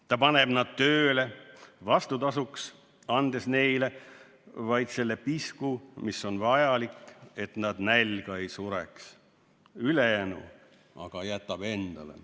Ta paneb nad tööle, vastutasuks andes neile vaid selle pisku, mis on vajalik, et nad nälga ei sureks, ülejäänu aga jätab endale.